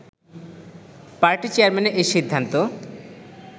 party চেয়ারম্যানের এ সিদ্ধান্ত